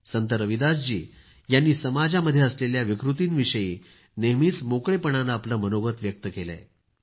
संत रविदासजी यांनी समाजामध्ये असलेल्या विकृतीविषयी नेहमीच मोकळेपणानं आपलं मनोगत व्यक्त केलंय